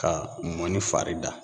Ka mɔnin fari da